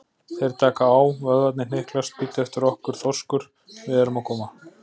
Þeir taka á, vöðvarnir hnyklast, bíddu eftir okkur, þorskur, við erum að koma.